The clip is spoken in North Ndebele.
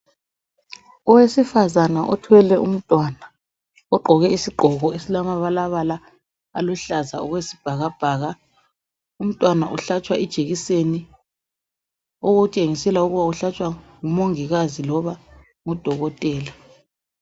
owesifazana othwele umntwana ogqoke isigqoko esilamabalabala aluhlaza okwesibhakabhaka umntwana uhatshwa ijekiseni okutshengisela ukuba uhlatshwa ngu mongikazi loba udokotela